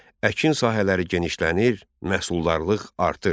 Əkin sahələri genişlənir, məhsuldarlıq artırdı.